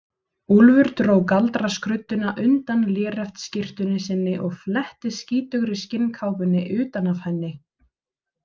Úlfur dró galdraskrudduna undan léreftsskyrtunni sinni og fletti skítugri skinnkápunni utan af henni.